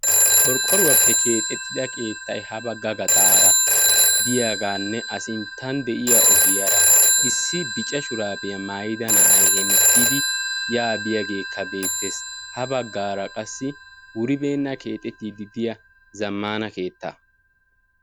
Qorqqoruwaappe keexxettida keettay ha bagga gaxxaara diyagaanne a sinttan diya ogiyaara issi bicca shuraabiya mayida na'ay hettidi yaa biiyaagekka beettees. Ha baggaara qassi wuribeenna keexettiidi diya zammana keetta.